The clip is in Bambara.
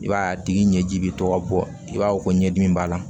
I b'a ye a tigi ɲɛji bɛ to ka bɔ i b'a fɔ ko ɲɛdimi b'a la